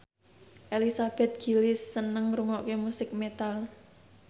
Elizabeth Gillies seneng ngrungokne musik metal